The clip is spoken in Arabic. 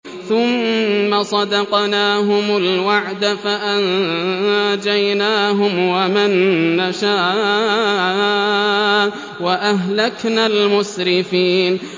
ثُمَّ صَدَقْنَاهُمُ الْوَعْدَ فَأَنجَيْنَاهُمْ وَمَن نَّشَاءُ وَأَهْلَكْنَا الْمُسْرِفِينَ